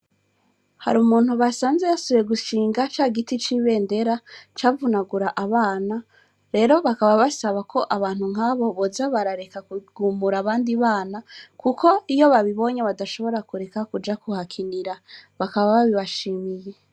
Hari umuntu basanze yasoye gushinga ca giti c'ibe ndera cavunagura abana rero bakaba basaba ko abantu nk'abo boza barareka kugumura abandi bana, kuko iyo babibonye badashobora kureka kuja kuhakinira bakaba babibashimiye.